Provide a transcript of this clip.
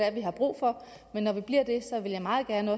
er vi har brug for men når vi bliver det vil jeg meget gerne